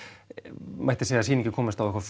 mætti segja að sýningin komist á eitthvað